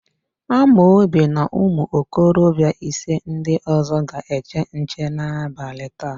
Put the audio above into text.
Amobi na ụmụokorobịa ise ndị ọ̀zọ́ ga-eche nche n'abalị taa.